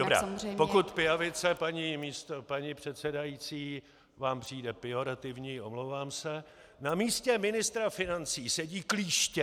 Dobrá, pokud pijavice, paní předsedající, vám přijde pejorativní, omlouvám se, na místě ministra financí sedí klíště...